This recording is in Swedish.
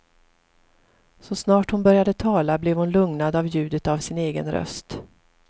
Så snart hon började tala blev hon lugnad av ljudet av sin egen röst.